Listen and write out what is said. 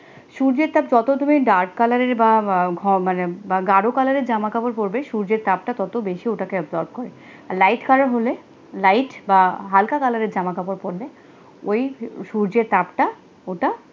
সূর্যের তাপ যত তুমি dark colour রের বা বা মানে গারো colour জামা কাপড় পরবে সূর্যের তাপ টা কত বেশি ওটাকে absorbe করে, light colour হলে light বা হালকা কালারের জামা কাপড় পড়বে, ওই সূর্যের তাপ টা ওটা